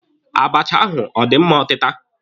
Abacha ahụ ọ dị mma ọtịta?